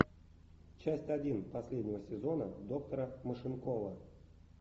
часть один последнего сезона доктора машинкова